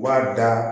B'a da